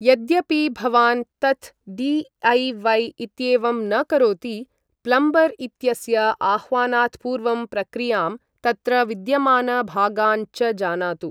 यद्यपि भवान् तत् डि.ऐ.वै. इत्येवं न करोति, प्लम्बर् इत्यस्य आह्वानात् पूर्वं प्रक्रियां, तत्र विद्यमान भागान् च जानातु।